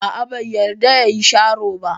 A'a, bai yarda ya yi sharo ba.